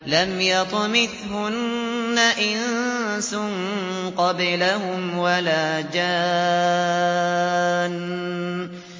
لَمْ يَطْمِثْهُنَّ إِنسٌ قَبْلَهُمْ وَلَا جَانٌّ